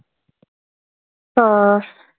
हा.